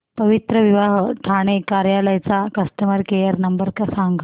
पवित्रविवाह ठाणे कार्यालय चा customer care number सांग